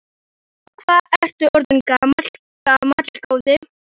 Og hvað ertu orðinn gamall, góði?